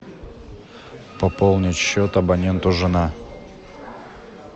пополнить счет абоненту жена